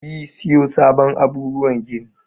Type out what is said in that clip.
Yi siyo sabon abubuwan gini.